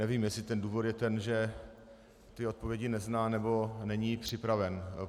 Nevím, jestli ten důvod je ten, že ty odpovědi nezná, nebo není připraven.